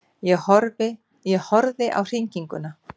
Ég horfði á hringinguna.